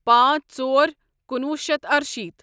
پانژھ ژور کُنوُہ شیتھ ارشیٖتھ